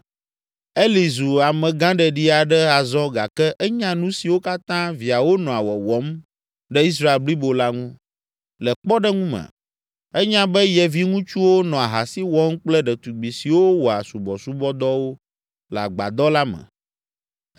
Eli zu amegãɖeɖi aɖe azɔ gake enya nu siwo katã viawo nɔa wɔwɔm ɖe Israel blibo la ŋu. Le kpɔɖeŋu me, enya be ye viŋutsuwo nɔ ahasi wɔm kple ɖetugbi siwo wɔa subɔsubɔdɔwo le Agbadɔ la me.